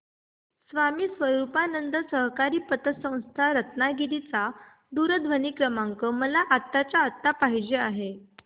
स्वामी स्वरूपानंद सहकारी पतसंस्था रत्नागिरी चा दूरध्वनी क्रमांक मला आत्ताच्या आता पाहिजे आहे